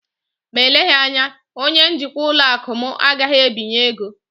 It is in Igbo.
Ma eleghị anya, onye njikwa ụlọ akụ m agaghị ebinye ego